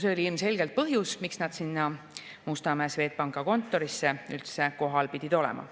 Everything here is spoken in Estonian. See oli ilmselgelt põhjus, miks nad seal Mustamäe Swedbanki kontoris üldse kohal pidid olema.